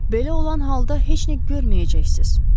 Belə olan halda heç nə görməyəcəksiniz.